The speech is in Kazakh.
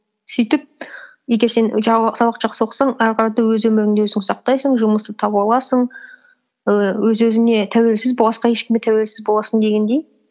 сөйтіп егер сен сабақты жақсы оқысаң ары қарата өз өміріңді өзің сақтайсың жұмысты таба аласың і өз өзіңе тәуелсіз басқа ешкімге тәуелсіз боласың дегендей